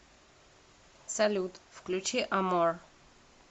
салют включи амор